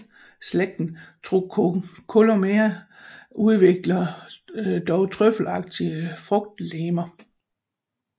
Slægten Truncocolumella udvikler dog trøffelagtige frugtlegemer